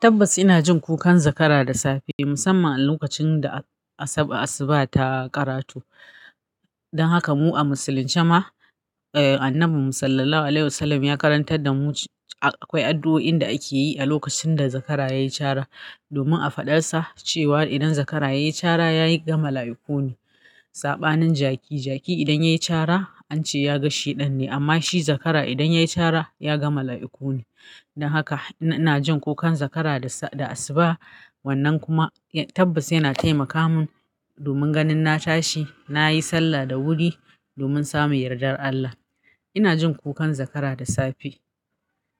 Tabbas ina jin kukan zakara da safe musamman a lokacin da a asub asuba ta karato don haka mu a musulunce ma, eh Annabi mu Sallallahu Alaihi wlWasallam ya karantar da mu akwai addu'o'in da ake yi a lokacin da zakara ya yi cara domin a faɗar sa cewa idan zakara ya yi cara ya ga mala'ukuni. Saɓanin jaki, jaki idan ya yi cara an ce ya gan sheɗan ne amma shi zakara idan ya yi cara ya ga mala'iku ne. Don haka ina jin kukan zakara da sa da asuba. Wannan kuma ya tabbas yana taimaka mun domin ganin na tashi, na yi sallah da wuri domin samun yardar Allah. Ina jin kukan zakara da safe